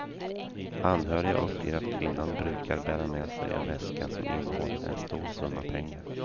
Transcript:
Anhöriga uppger att kvinnan brukar bära med sig en väska som innehåller en stor summa pengar.